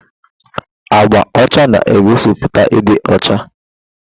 Agba ọcha na-egosiputa ịdị ọcha.